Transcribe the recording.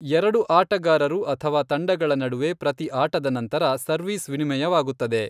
ಎರಡು ಆಟಗಾರರು ಅಥವಾ ತಂಡಗಳ ನಡುವೆ ಪ್ರತಿ ಆಟದ ನಂತರ ಸರ್ವೀಸ್ ವಿನಿಮಯವಾಗುತ್ತದೆ.